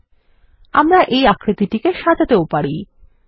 ল্টপাউসেগ্ট আমরা এই আকৃতিকে সাজাতেও পারি160